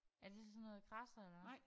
Er det sådan noget der kradser eller hvad?